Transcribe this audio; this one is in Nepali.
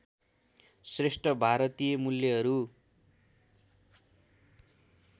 श्रेष्ठ भारतीय मूल्यहरू